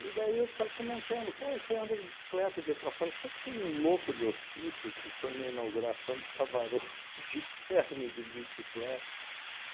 E daí os caras comentando, pô, você anda de bicicleta daí para fora, você sabe que tem um louco de hospício que foi na na inauguração do Savarone de terno e de bicicleta?